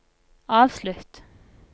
avslutt